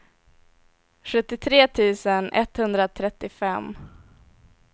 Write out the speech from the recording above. sjuttiotre tusen etthundratrettiofem